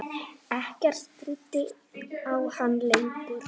Ekkert stríddi á hann lengur.